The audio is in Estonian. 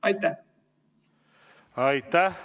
Aitäh!